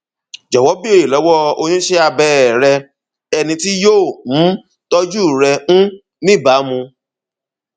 jọwọ béèrè lọwọ oníṣẹ abẹ er rẹ ẹni tí yóò um tọjú rẹ um níbàámu